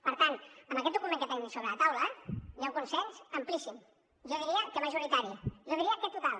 per tant amb aquest document que tenim sobre la taula hi ha un consens amplíssim jo diria que majoritari jo diria que total